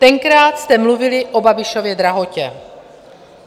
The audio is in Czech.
Tenkrát jste mluvili o Babišově drahotě.